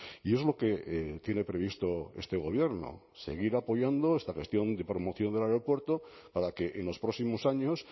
y es lo que tiene previsto este gobierno seguir apoyando esta gestión de promoción del aeropuerto para que en los próximos años